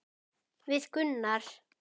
Við Gunnar?